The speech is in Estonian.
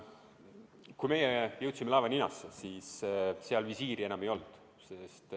Kui meie jõudsime laeva ninasse, siis seal visiiri enam ei olnud.